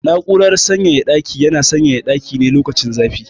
Na'urar sanyaya ɗaki yana sanyaya ɗaki ne lokacin zafi.